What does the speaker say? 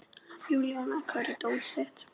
Júníana, hvar er dótið mitt?